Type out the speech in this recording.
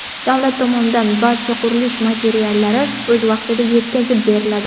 Davlat tomonidan barcha qurilish materiallari o‘z vaqtida yetkazib beriladi.